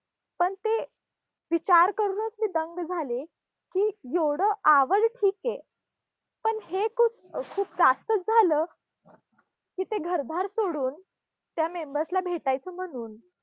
पण ते विचार करूनच मी दंग झाले की, येवढं आवड ठीके. पण हे खूप खूप जास्तच झालं की ते घरदार सोडून, त्या members ना भेटायचं म्हणून